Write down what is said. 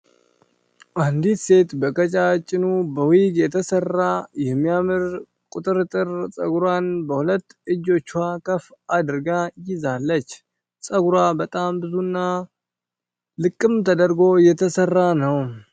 አንዲት ሴት በቀጫጭኑ በዊግ የተሰራ የሚያምር ቁጥርጥር ጸጉሯን በሁለት እጆቿ ከፍ አድርጋ ይዛለች። ጸጉሯ በጣም ብዙ እና ልቅም ተደርጎ የተሰራ ነው።